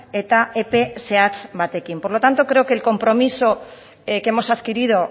eta epe zehatz batekin por lo tanto creo que el compromiso que hemos adquirido